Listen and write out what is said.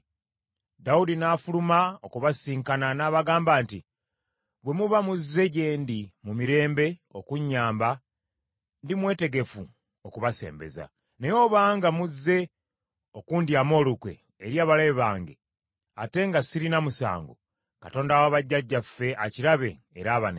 Dawudi n’afuluma okubasisinkana, n’abagamba nti, “Bwe muba muzze gye ndi mu mirembe, okunyamba, ndimwetegefu okubasembeza. Naye obanga muzze okundyamu olukwe eri abalabe bange, ate nga sirina musango, Katonda wa bajjajjaffe akirabe era abanenye.”